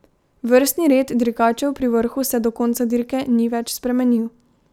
Vrstni red dirkačev pri vrhu se do konca dirke ni več spremenil.